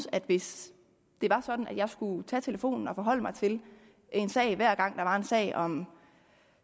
at hvis det var sådan at jeg skulle tage telefonen og forholde mig til en sag hver gang der var en sag om